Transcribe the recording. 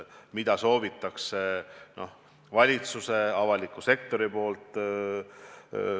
Mida soovib valitsus, avalik sektor?